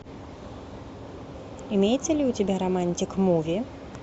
имеется ли у тебя романтик муви